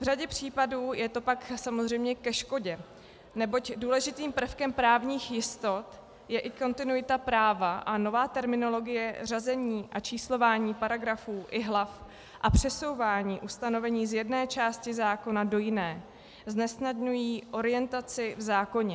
V řadě případů je to pak samozřejmě ke škodě, neboť důležitým prvkem právních jistot je i kontinuita práva a nová terminologie řazení a číslování paragrafů i hlav a přesouvání ustanovení z jedné části zákona do jiné znesnadňují orientaci v zákoně.